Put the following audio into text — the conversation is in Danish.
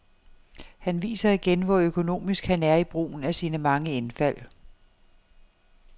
Han viser igen, hvor økonomisk han er i brugen af sine mange indfald.